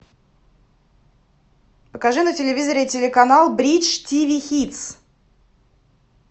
покажи на телевизоре телеканал бридж тиви хитс